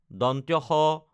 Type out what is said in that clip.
স